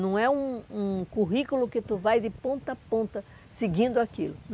Não é um um currículo que tu vai de ponta a ponta seguindo aquilo.